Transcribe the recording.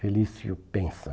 Felício, pensa.